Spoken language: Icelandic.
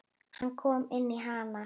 Hann kom inn í hana.